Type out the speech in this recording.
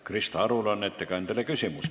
Krista Arul on ettekandjale küsimus.